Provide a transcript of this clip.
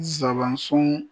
Zabansun